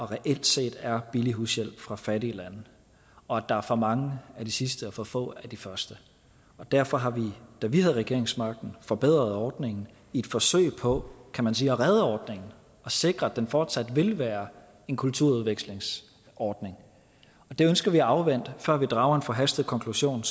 reelt set er her billig hushjælp fra fattige lande og at der er for mange af de sidste og for få af de første derfor har vi da vi havde regeringsmagten forbedret ordningen i et forsøg på at kan man sige redde ordningen og sikre at den fortsat vil være en kulturudvekslingsordning det ønsker vi at afvente før vi drager en forhastet konklusion